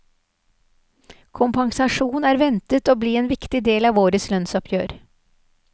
Kompensasjon er ventet å bli en viktig del av årets lønnsoppgjør.